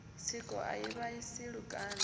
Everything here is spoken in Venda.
tsiko a i vhaisi lukanda